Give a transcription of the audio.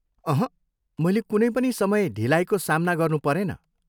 अहँ, मैले कुनै पनि समय ढिलाइको सामना गर्नु परेन।